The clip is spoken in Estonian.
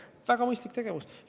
See on väga mõistlik tegevus.